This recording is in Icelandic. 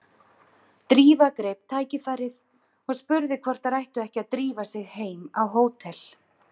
Drífa greip tækifærið og spurði hvort þær ættu ekki að drífa sig heim á hótel.